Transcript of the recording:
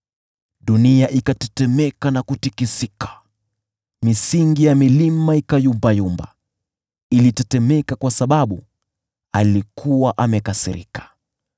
Dunia ilitetemeka na kutikisika, misingi ya milima ikatikisika, vilitetemeka kwa sababu alikuwa amekasirika.